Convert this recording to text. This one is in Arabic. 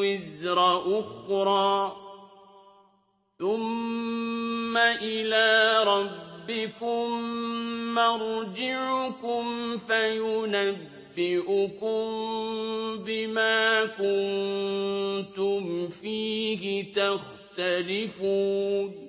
وِزْرَ أُخْرَىٰ ۚ ثُمَّ إِلَىٰ رَبِّكُم مَّرْجِعُكُمْ فَيُنَبِّئُكُم بِمَا كُنتُمْ فِيهِ تَخْتَلِفُونَ